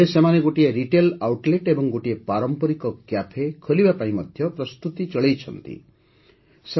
ଏବେ ସେମାନେ ଗୋଟିଏ ରିଟେଲ୍ ଆଉଟଲେଟ୍ ଏବଂ ଗୋଟିଏ ପାରମ୍ପରିକ କ୍ୟାଫେ ଖୋଲିବା ପାଇଁ ପ୍ରସ୍ତୁତି ଚଳାଇଛନ୍ତି